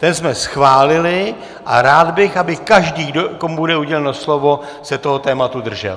Ten jsme schválili a rád bych, aby každý, komu bude uděleno slovo, se toho tématu držel.